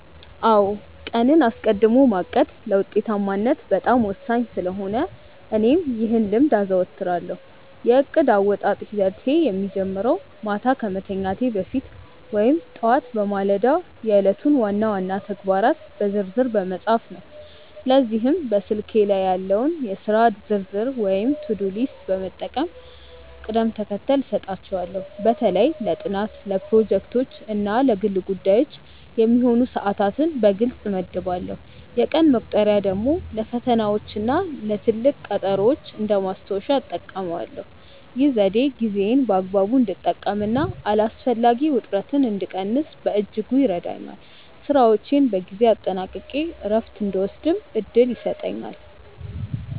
አዎ ቀንን አስቀድሞ ማቀድ ለውጤታማነት በጣም ወሳኝ ስለሆነ እኔም ይህን ልምድ አዘወትራለሁ። የእቅድ አወጣጥ ሂደቴ የሚጀምረው ማታ ከመተኛቴ በፊት ወይም ጠዋት በማለዳ የዕለቱን ዋና ዋና ተግባራት በዝርዝር በመጻፍ ነው። ለዚህም በስልኬ ላይ ያለውን የሥራ ዝርዝር ወይም ቱዱ ሊስት በመጠቀም ቅደም ተከተል እሰጣቸዋለሁ። በተለይ ለጥናት፣ ለፕሮጀክቶች እና ለግል ጉዳዮች የሚሆኑ ሰዓታትን በግልጽ እመድባለሁ። የቀን መቁጠሪያ ደግሞ ለፈተናዎችና ለትልቅ ቀጠሮዎች እንደ ማስታወሻ እጠቀማለሁ። ይህ ዘዴ ጊዜዬን በአግባቡ እንድጠቀምና አላስፈላጊ ውጥረትን እንድቀንስ በእጅጉ ይረዳኛል። ስራዎቼን በጊዜ አጠናቅቄ እረፍት እንድወስድም እድል ይሰጠኛል።